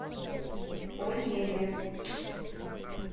онеге